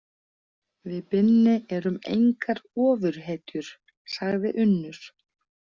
Við Binni erum engar ofurhetjur, sagði Unnur.